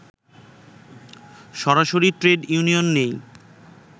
সরাসরি trade union নেই